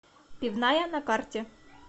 пивная на карте